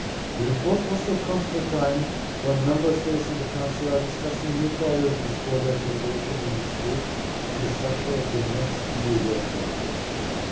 The report also comes at a time when Member States and the Council are discussing new priorities for their cooperation in this field and the structure of the next EU work plan for sport.